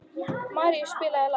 Márus, spilaðu lag.